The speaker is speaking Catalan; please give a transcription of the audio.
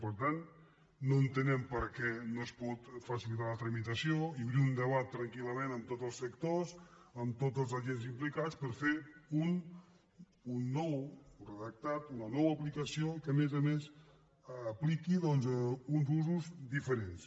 per tant no entenem per què no se’n pot facilitar la tramitació i obrir un debat tranquillament amb tots els sectors amb tots els agents implicats per fer ne un nou redactat una nova aplicació i que a més a més s’hi apliquin doncs uns usos diferents